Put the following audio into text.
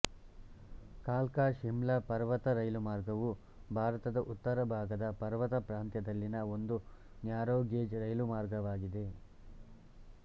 ಕಾಲ್ಕಾಶಿಮ್ಲಾ ಪರ್ವತ ರೈಲುಮಾರ್ಗವು ಭಾರತದ ಉತ್ತರಭಾಗದ ಪರ್ವತ ಪ್ರಾಂತ್ಯದಲ್ಲಿನ ಒಂದು ನ್ಯಾರೋಗೇಜ್ ರೈಲುಮಾರ್ಗವಾಗಿದೆ